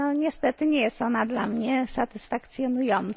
Niestety nie jest ona dla mnie satysfakcjonująca.